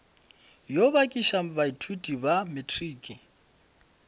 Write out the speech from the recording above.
yo bakiša baithuti ba matriki